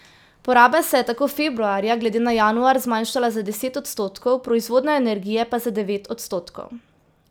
Poraba se je tako februarja glede na januar zmanjšala za deset odstotkov, proizvodnja energije pa za devet odstotkov.